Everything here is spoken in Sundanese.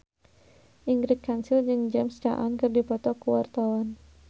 Ingrid Kansil jeung James Caan keur dipoto ku wartawan